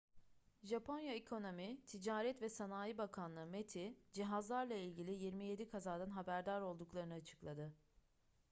japonya ekonomi ticaret ve sanayi bakanlığı meti cihazlarla ilgili 27 kazadan haberdar olduklarını açıkladı